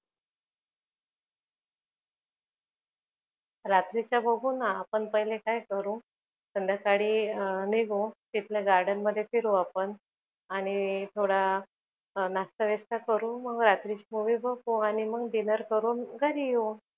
रात्रीचा बघून आपण पहिले काय करू, संद्याकाळी निघू तिथल्या garden मध्ये फिरू. आपण आणि थोडा नाश्ता बिस्ता करू मग रात्रीची movie बघू dinner करू आणि मग घरी येऊ.